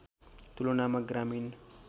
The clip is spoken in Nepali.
तुलनामा ग्रामीण